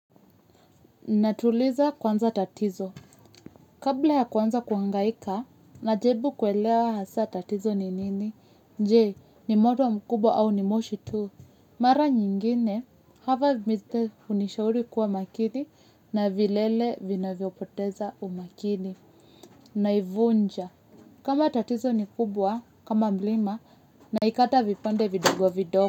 Natuliza kwanza tatizo. Kabla ya kwanza kwangaika na jaribu kuelewa hasa tatizo ni nini. Nje ni moto mkubwa au ni moshi tu. Mara nyingine hava miste unishauri kuwa makini na vilele vinavyo poteza umakini naivunja. Kama tatizo ni kubwa kama mlima naikata vipande vidogo vidogo.